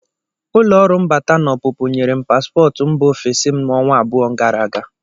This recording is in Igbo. Ụlọ ọrụ mbata na ọpụpụ nyere m paspọtụ mba ofesi m ọnwa abụọ gara aga.